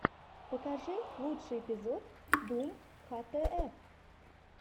покажи лучший эпизод дум хтф